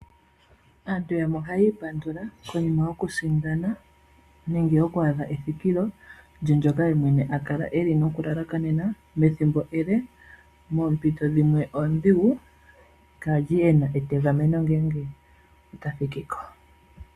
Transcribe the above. Aantu oha yi ipandula konima yoku sindana, nenge yoku adha ethikilo lye ndyoka ye mwene a kala noku lalakanena ethimbo ele, moompito dhimwe oondhigu, kaa li e na etegameno ngeenge ota thiki ko.